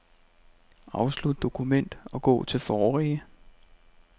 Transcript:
Afslut dokument og gå til forrige.